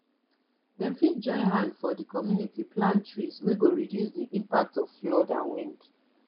dem fit join hand for di community plant trees wey go reduce the impact of flood and wind